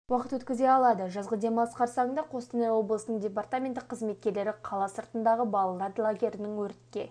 уақытын өткізе алады жазғы демалыс қарсаңында қостанай облысының департаменті қызметкерлері қала сыртындағы балалар лагерлерінің өртке